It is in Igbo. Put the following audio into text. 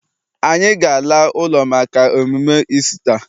Anyị ga- ala ụlọ maka emume Isita.